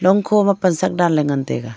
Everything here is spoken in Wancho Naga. khoma pasak danley ngan taiga.